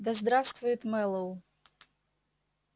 да здравствует мэллоу